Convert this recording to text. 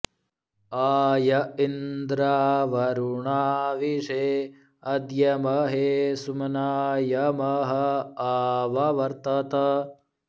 आ य इन्द्रा॒वरु॑णावि॒षे अ॒द्य म॒हे सु॒म्नाय॑ म॒ह आ॑व॒वर्त॑त्